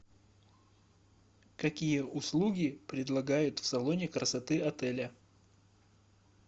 какие услуги предлагают в салоне красоты отеля